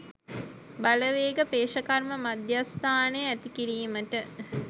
බලවේග පේෂකර්ම මධ්‍යස්ථානය ඇති කිරීමට